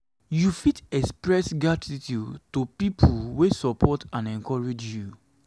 you fit express gratitude to de people wey support and encourage you.